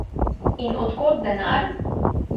In od kod denar?